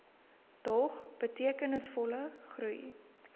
dog betekenisvolle groei